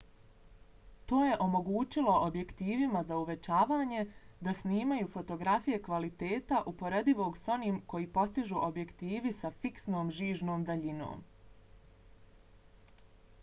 to je omogućilo objektivima za uvećavanje da snimaju fotografije kvaliteta uporedivog s onim koji postižu objektivi sa fiksnom žižnom daljinom